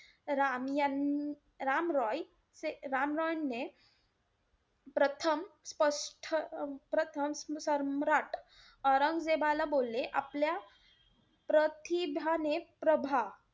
राम~ राम रॉय, राम रॉयने प्रथम स्पष्ट ~ प्रथम सम्राट औरंगजेबाला बोलले आपल्या प्रतिभाने~ प्रभा,